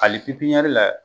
Ali pipiyɛri la